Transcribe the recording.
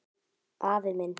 Afi minn